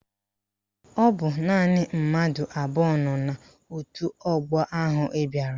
Ọ bụ naanị mmadụ abụọ nọ n'òtù ọgbọ ahụ bịara